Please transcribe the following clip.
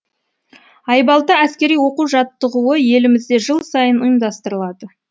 айбалта әскери оқу жаттығуы елімізде жыл сайын ұйымдастырылады